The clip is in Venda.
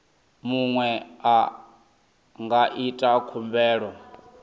muṅwe a nga ita khumbelo